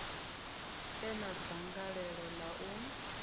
e na dzangalelo ḽa u